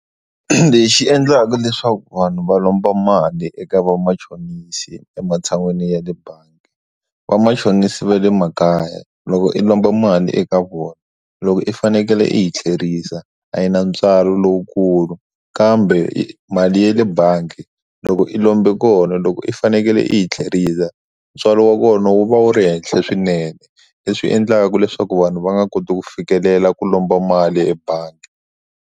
Lexi endlaka leswaku vanhu va lomba mali eka vamachonisi ematshan'wini ya le bangi vamachonisi va le makaya loko i lomba mali eka vona loko i fanekele i hi thlerisa a yi na ntswalo lowukulu kambe i mali yale bangi loko i lombi kona loko u fanekele i yi tlherisela ntswalo wa kona wu va wu ri henhla swinene le swi endlaka leswaku vanhu va nga koti ku fikelela ku lomba mali ebangi.